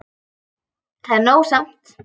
Það er nóg samt.